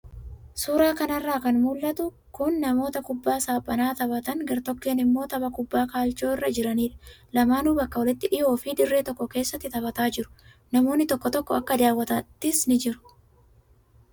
Suuraa kanarraa kan mul'atu kun namoota kubbaa saaphanaa taphatan gartokkeen immoo tapha kubbaa kaalchoo irra jiranidha. Lamaanuu bakka walitti dhiyoo fi dirree tokko keessatti taphataa jiru. Namoonni tokko tokko akka daawwataattis ni jiru.